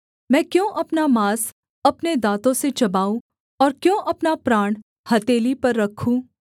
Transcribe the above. मैं क्यों अपना माँस अपने दाँतों से चबाऊँ और क्यों अपना प्राण हथेली पर रखूँ